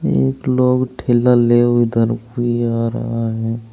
एक लोग ठेला ले उधर भी आ रहे है।